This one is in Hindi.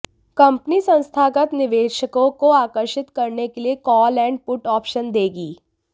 कंपनी संस्थागत निवेशकों को आकर्षित करने के लिए कॉल ऐंड पुट ऑप्शन देगी